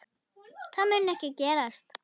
Það mun ekki gerast.